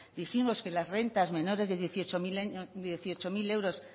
dijimos que las rentas menores de dieciocho mil euros